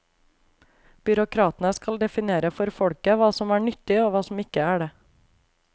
Byråkratene skal definere for folket hva som er nyttig og hva som ikke er det.